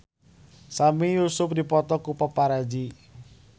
Sami Yusuf dipoto ku paparazi